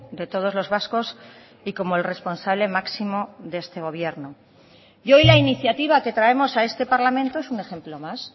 de todos los vascos y como el responsable máximo de este gobierno y hoy la iniciativa que traemos a este parlamento es un ejemplo más